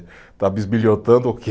Está bisbilhotando o quê?